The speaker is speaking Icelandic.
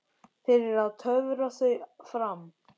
Fyrir að töfra þau fram.